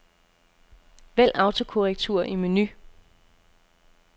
Vælg autokorrektur i menu.